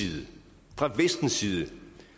side